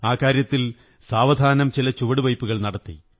ആ കാര്യത്തിൽ സാവധാനം ചില ചുവടുവയ്പ്പുകൾ നടത്തി